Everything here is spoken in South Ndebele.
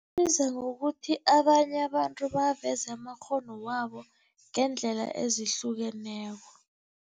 Isiza ngokuthi abanye abantu baveze amakghono wabo ngeendlela ezihlukeneko.